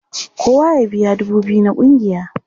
Kowa ya biya dubu biyu na ƙungiya!